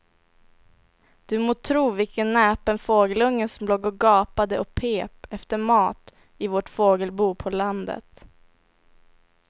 Du må tro vilken näpen fågelunge som låg och gapade och pep efter mat i vårt fågelbo på landet.